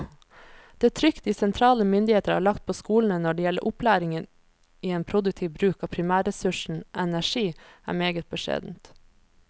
Det trykk de sentrale myndigheter har lagt på skolene når det gjelder opplæring i en produktiv bruk av primærressursen energi, er meget beskjedent.